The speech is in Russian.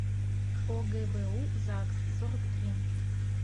огбу загс сорок три